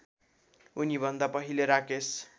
उनीभन्दा पहिले राकेश